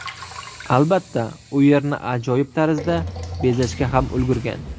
Albatta, u yerni ajoyib tarzda bezashga ham ulgurgan.